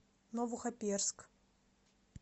новохоперск